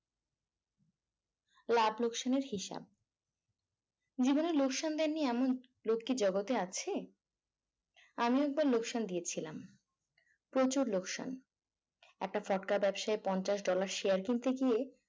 লাভ লোকসানের হিসাব জীবনের লোকসান দেননি এমন লোক কি জগতে আছে আমি একবার লোকসান দিয়েছিলাম প্রচুর লোকসান একটা ফটকা ব্যবসায় পঞ্চাশ dollar share কিনতে গিয়ে